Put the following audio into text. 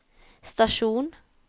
stasjon